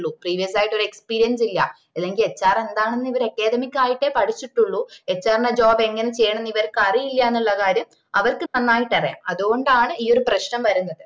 previous ആയിട്ടൊരു experience ഇല്ല അല്ലെങ്കിൽ HR എന്താന്ന് ഇവർ academy ക്കായിട്ടെ പഠിച്ചിട്ടുള്ളൂ HR ന്റെ job എങ്ങനെ ചെയ്യണോന്ന് ഇവർക്ക് അറിയില്ലെന്നുള്ള കാര്യം അവർക്ക് നന്നായിട്ട് അറിയാ അത്‌കൊണ്ടാണ് ഈ ഒരു പ്രശ്നം വരുന്നത്